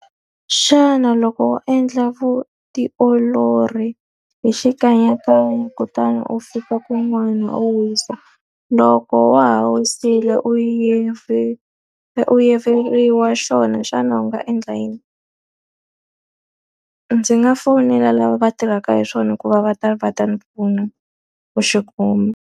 Xana loko wo endla vutiolori hi xikanyakanya, kutani u fika kun'wana u wisa loko wa ha wisile u u yiveriwa xona, xana u nga endla yini? Ndzi nga fonela lava va tirhaka hi swona ku va va ta va ta ni pfuna ku xi kuma.